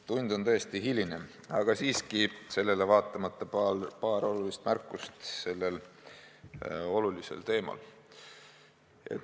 Tund on tõesti hiline, aga sellele vaatamata teen siiski paar olulist märkust sellel olulisel teemal.